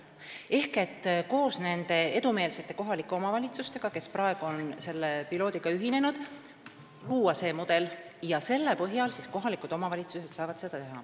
Ehk koos nende edumeelsete kohalike omavalitsustega, kes praegu on selle piloodiga ühinenud, luuakse see mudel ja selle põhjal saavad kohalikud omavalitsused tegutseda.